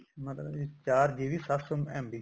ਮਤਲਬ ਚਾਰ GB ਸੱਤ ਸੋ MB